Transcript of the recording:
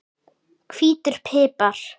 Hvítur pipar